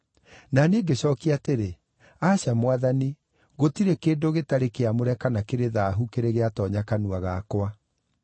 “Na niĩ ngĩcookia atĩrĩ, ‘Aca, Mwathani! Gũtirĩ kĩndũ gĩtarĩ kĩamũre kana kĩrĩ thaahu kĩrĩ gĩatoonya kanua gakwa.’